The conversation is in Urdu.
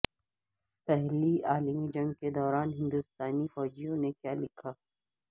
پہلی عالمی جنگ کے دوران ہندوستانی فوجیوں نے کیا لکھا